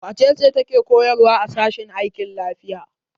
Wace ce take koyarwa a sashen aikin lafiya?